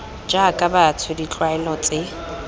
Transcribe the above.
jaaka batho ke ditlwaelo tse